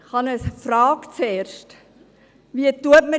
Ich habe zuerst eine Frage: